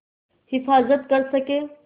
हिफ़ाज़त कर सकें